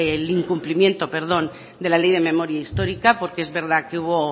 el incumplimiento de la ley de memoria histórica porque es verdad que